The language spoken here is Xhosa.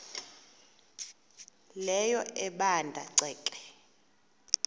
leyo ebanda ceke